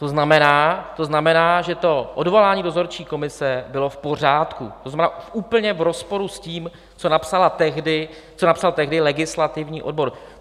To znamená, že to odvolání dozorčí komise bylo v pořádku, to znamená, úplně v rozporu s tím, co napsal tehdy legislativní odbor.